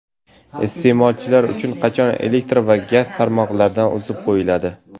Iste’molchilar qachon elektr va gaz tarmoqlaridan uzib qo‘yiladi?.